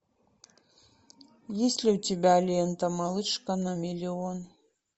есть ли у тебя лента малышка на миллион